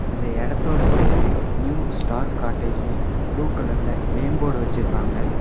இந்த எடத்தோட பேரு நியூ ஸ்டார் காட்டேஜ்னு ப்ளூ கலர்ல நேம் போர்டு வச்சிருக்காங்க.